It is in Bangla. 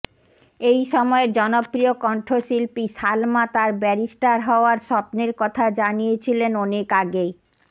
এই সময়ের জনপ্রিয় কণ্ঠশিল্পী সালমা তার ব্যারিস্টার হওয়ার স্বপ্নের কথা জানিয়েছিলেন অনেক আগেই